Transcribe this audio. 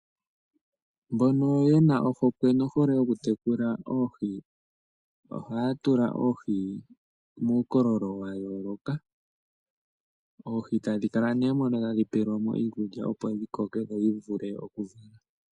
Mbono yena ohokwe nohole yoku tekula nawa oohi, ohaya tula oohi muukololo wayooloka . Oohi tadhi kala mono tadhi pelwamo iikulya opo dhikoke nodhivule okuvala.